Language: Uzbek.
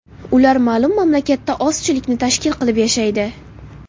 Ular ma’lum mamlakatda ozchilikni tashkil qilib yashaydi.